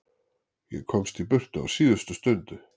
Ég komst í burtu á síðustu stundu.